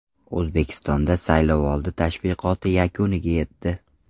O‘zbekistonda saylovoldi tashviqoti yakuniga yetdi.